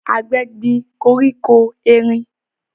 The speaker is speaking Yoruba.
Àgbẹ̀ gbin koríko erin